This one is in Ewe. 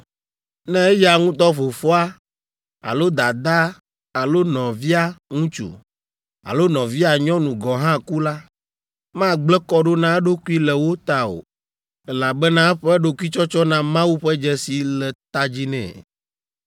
Ne eya ŋutɔ fofoa alo dadaa alo nɔvia ŋutsu alo nɔvia nyɔnu gɔ̃ hã ku la, magblẽ kɔ ɖo na eɖokui le wo ta o, elabena eƒe ɖokuitsɔtsɔ na Mawu ƒe dzesi le ta dzi nɛ,